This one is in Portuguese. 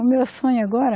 O meu sonho agora?